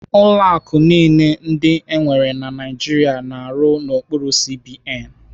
Ụlọ akụ niile ndị enwere na Naijiria na-arụ n'okpuru CBN.